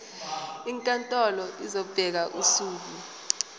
inkantolo izobeka usuku